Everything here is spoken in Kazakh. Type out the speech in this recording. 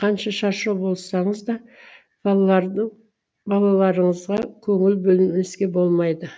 қанша шаршау болсаңыз да балаларды балаларыңызға көңіл бөлмеске болмайды